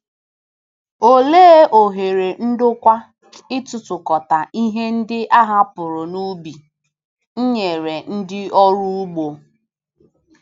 Olee ohere ndokwa ịtụtụkọta ihe ndị a hapụrụ n’ubi nyere ndị ọrụ ugbo?